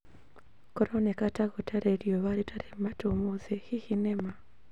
kũroneka ta kũrĩ na riũa rĩtarĩ matu ũmũthĩ hihi nĩ ma